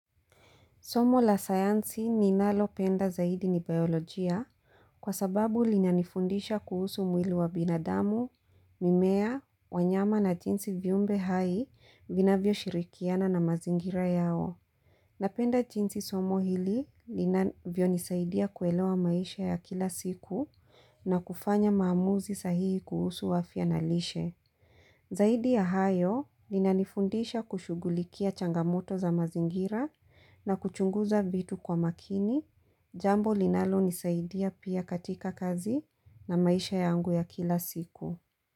Somo la sayansi ninalo penda zaidi ni biolojia kwa sababu linanifundisha kuhusu mwili wa binadamu, mimea, wanyama na jinsi viumbe hai vinavyo shirikiana na mazingira yao. Napenda jinsi somo hili linavyo nisaidia kuelewa maisha ya kila siku na kufanya maamuzi sahihi kuhusu afia na lishe, zaidi ya kuchunguza vitu kwa makini, jambo linalonisaidia pia katika kazi na maisha yangu ya kila siku.